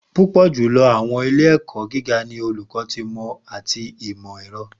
Pupọ julọ Awọn ile-ẹkọ giga ni Oluko ti Imọ ati Imọ-ẹrọ